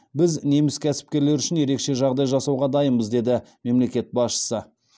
біз неміс кәсіпкерлері үшін ерекше жағдай жасауға дайынбыз деді мемлекет басшысы